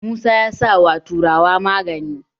musa ya sa wa tururuwa magani